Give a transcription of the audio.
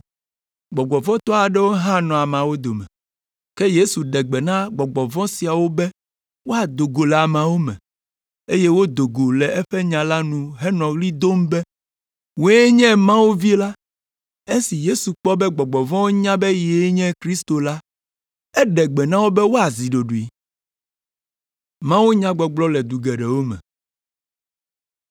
Gbɔgbɔ vɔ̃ tɔ aɖewo hã nɔ ameawo dome, ke Yesu ɖe gbe na gbɔgbɔ vɔ̃ siawo be woado go le ameawo me, eye wodo go le eƒe nya nu henɔ ɣli dom be, “Wòe nye Mawu Vi la.” Esi Yesu kpɔ be gbɔgbɔ vɔ̃wo nya be yee nye Kristo la, eɖe gbe na wo be woazi ɖoɖoe.